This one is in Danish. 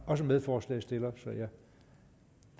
også medforslagsstiller så jeg